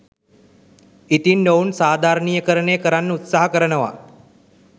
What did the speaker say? ඉතින් ඔවුන් සාධාරණීයකරණය කරන්න උත්සාහ කරනවා